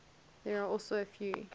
there are also a few